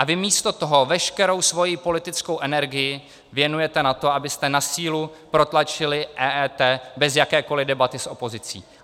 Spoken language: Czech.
A vy místo toho veškerou svoji politickou energii věnujete na to, abyste na sílu protlačili EET bez jakékoli debaty s opozicí.